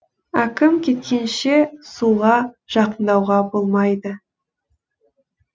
әкім кеткенше суға жақындауға болмайды